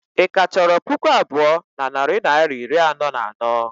Ị ka chọrọ puku abụọ na narị naịra iri anọ na anọ?